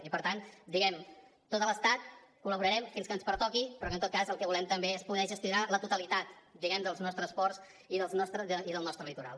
i per tant tot l’estat col·laborarem fins que ens pertoqui però que en tot cas el que volem també és poder gestionar la totalitat diguem ne dels nostres ports i del nostre litoral